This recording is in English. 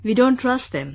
We don't trust them